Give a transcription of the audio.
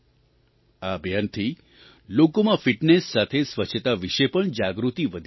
આ અભિયાનથી લોકોમાં ફિટનેસ સાથે સ્વચ્છતા વિશે પણ જાગૃતિ વધી રહી છે